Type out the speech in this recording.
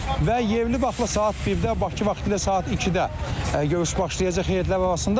Və yerli vaxtla saat 1-də, Bakı vaxtilə saat 2-də görüş başlayacaq heyətlər arasında.